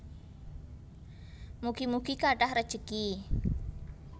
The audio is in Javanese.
Mugi mugi kathah rejeki